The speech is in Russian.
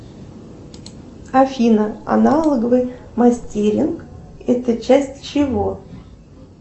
афина аналоговый мастеринг это часть чего